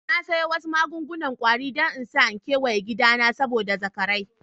Na siya wasu magun-gunan kwari dan n'sa keweyen gida na saboda zakarai.